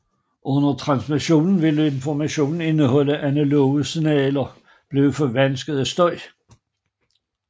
Under transmissionen vil information indeholdt i analoge signaler blive forvansket af støj